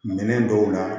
Minɛn dɔw la